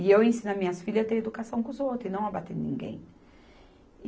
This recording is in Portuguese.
E eu ensino as minhas filhas a ter educação com os outros e não a bater em ninguém.